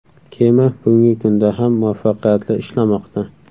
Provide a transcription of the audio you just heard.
Kema bugungi kunda ham muvaffaqiyatli ishlamoqda.